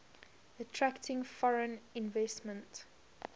attracting foreign investment